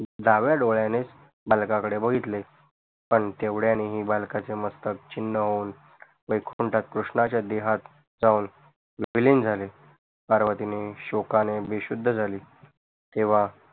डाव्या डोडयानेच बालका कडे बघितले पण तेवड्यानेही बालकाचे मस्तक छिन्न होऊन वैकुंठत कृष्णाच्या देहात जाऊन विलीन झाले पार्वतीने शोकाणे बेशुद्ध झाली